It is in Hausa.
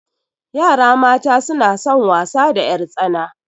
Yara mata suna son wasa da ƴartsana.